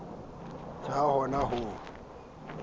ja ha o na ho